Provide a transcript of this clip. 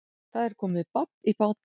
Það er komið babb í bátinn